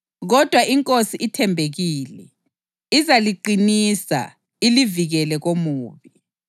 Kodwa iNkosi ithembekile, izaliqinisa ilivikele komubi.